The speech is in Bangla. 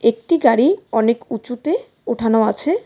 একটি গাড়ি অনেক উঁচুতে ওঠানো আছে।